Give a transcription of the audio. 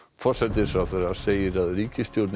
forsætisráðherra segir að ríkisstjórnin